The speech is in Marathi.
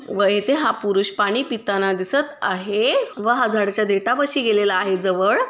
व इथे हा पुरुष पाणी पिताना दिसत आहै व हा झाडाच्या देठापाशी गेलेला आहे जवळ--